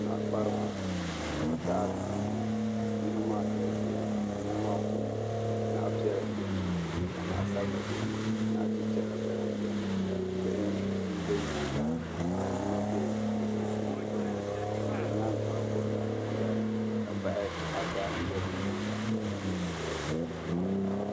Naɣakpariba ka taɣari nihi nihi maa galisiya nihi maa puuni naɣpiɛla bɛini ka naɣsabila bɛini naɣchicha gba lahi bɛini bihi m be nyaaŋa ka yino be sunsuuni doliba ban be nyaaŋa maa gbubila dara ka bahi.